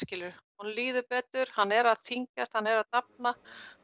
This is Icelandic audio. honum líður betur hann er að þyngjsat hann er að dafna